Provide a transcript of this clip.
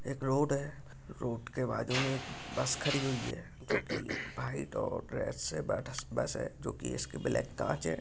एक रोड है रोड के बाजू मे बस खड़ी हुई है जो की व्हाइट और रेड जो की इसकी ब्लॅक काच है।